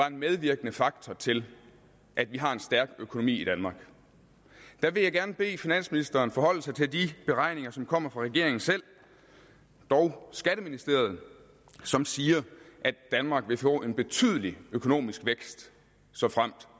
en medvirkende faktor til at vi har en stærk økonomi i danmark der vil jeg gerne bede finansministeren forholde sig til de beregninger som kommer fra regeringen selv dog skatteministeriet som siger at danmark vil få en betydelig økonomisk vækst såfremt